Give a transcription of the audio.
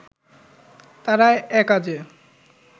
তারা একাজে